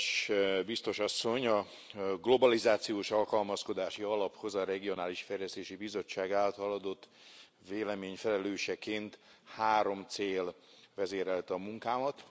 Kedves Biztos asszony! A Globalizációs Alkalmazkodási Alaphoz a Regionális Fejlesztési Bizottság által adott vélemény felelőseként három cél vezérelte a munkámat.